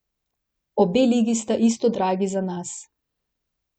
Obe ligi sta isto dragi za nas.